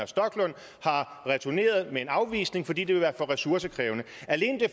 stoklund har returneret en afvisning fordi det ville være for ressourcekrævende alene det